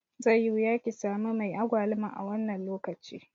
Zai yi wuya kisami mai agwaluma a wannan lokaci.